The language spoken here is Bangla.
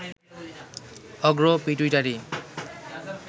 অগ্র পিটুইটারি